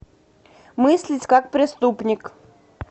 мыслить как преступник